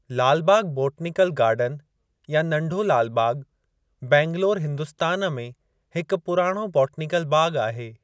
लाल Bagh botanical garden या नंढो लाल बाग़ बैंगलौर, हिन्दुस्तान में हिक पुराणो बोटनीकल बाग़ आहे।